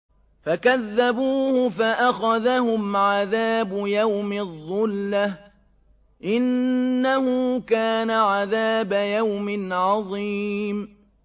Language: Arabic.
فَكَذَّبُوهُ فَأَخَذَهُمْ عَذَابُ يَوْمِ الظُّلَّةِ ۚ إِنَّهُ كَانَ عَذَابَ يَوْمٍ عَظِيمٍ